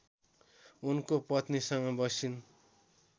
उनको पत्नीसँग बसिन्